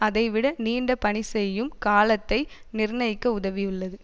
அதை விட நீண்ட பணி செய்யும் காலத்தை நிர்ணயிக்க உதவியுள்ளது